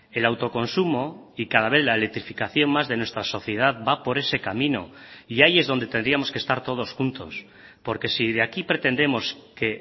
el autoconsumo y cada vez la electrificación más de nuestra sociedad va por ese camino y ahí es donde tendríamos que estar todos juntos porque si de aquí pretendemos que